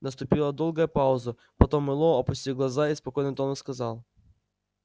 наступила долгая пауза потом мэллоу опустил глаза и спокойным тоном сказал